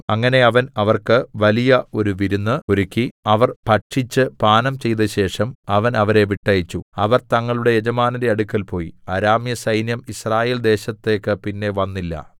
അങ്ങനെ അവൻ അവർക്ക് വലിയ ഒരു വിരുന്ന് ഒരുക്കി അവർ ഭക്ഷിച്ചു പാനം ചെയ്തശേഷം അവൻ അവരെ വിട്ടയച്ചു അവർ തങ്ങളുടെ യജമാനന്റെ അടുക്കൽ പോയി അരാമ്യസൈന്യം യിസ്രായേൽദേശത്തേക്ക് പിന്നെ വന്നില്ല